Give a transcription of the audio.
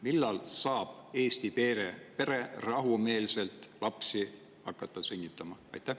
Millal saab Eesti pere rahumeelselt hakata lapsi sünnitama?